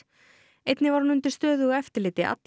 einnig var hún undir stöðugu eftirliti alla